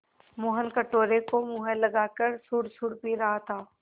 मोहन कटोरे को मुँह लगाकर सुड़सुड़ पी रहा था